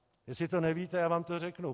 Jestli to nevíte, já vám to řeknu.